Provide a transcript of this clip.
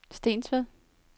Stensved